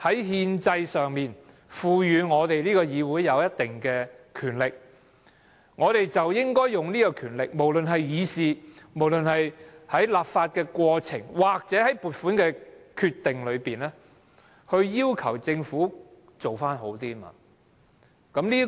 憲制上賦予議會有一定的權力，我們便應該運用這權力，無論是透過議事、立法過程或撥款決定，要求政府做得好一點。